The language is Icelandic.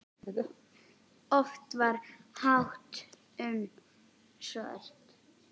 Oft var fátt um svör.